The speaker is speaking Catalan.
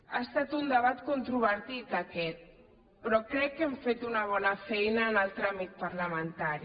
ha estat un debat controvertit aquest però crec que hem fet una bona feina en el tràmit parlamentari